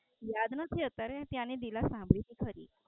યાદ નથી અત્યારે ત્યાંની લીલા સાંભળી છે ખરી.